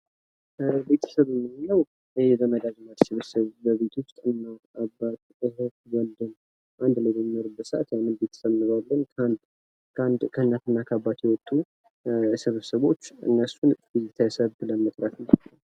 ቤተሰብ የምንለው የዘመድ አዝማድ ስብስብ በቤት ውስጥ የሚኖሩ አባት ወንድም እህት በአንድ ላይ በሚኖሩበት ሰዓትይህንን ቤተሰብ እንለዋለን ከአንድ እናትና አባት የወጡ ስብስቦች እነሱን ቤተሰብ መጥራት እንችላለን